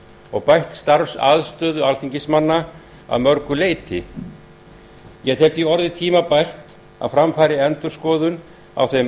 og bætt starfsaðstöðu alþingismanna að mörgu leyti ég tel því orðið tímabært að fram fari endurskoðun á þeim